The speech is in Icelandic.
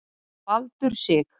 Þeir hafa nú verið kærðir